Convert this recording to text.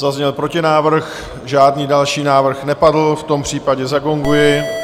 Zazněl protinávrh, žádný další návrh nepadl, v tom případě zagonguji.